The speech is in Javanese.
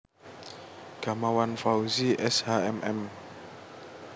Gamawan Fauzi S H M M